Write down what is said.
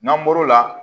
N'an bɔr'o la